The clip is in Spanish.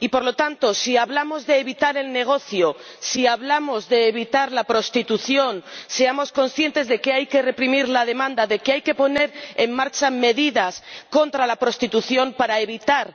Y, por lo tanto, si hablamos de evitar el negocio, si hablamos de evitar la prostitución, seamos conscientes de que hay que reprimir la demanda, de que hay que poner en marcha medidas contra la prostitución para evitar